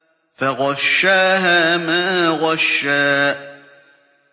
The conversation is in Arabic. فَغَشَّاهَا مَا غَشَّىٰ